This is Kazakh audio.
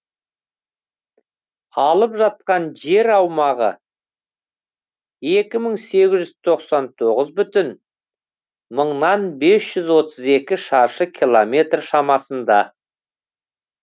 алып жатқан жер аумағы екі мың сегіз жүз тоқсан тоғыз бүтін мыңнан бес жүз отыз екі шаршы километр шамасында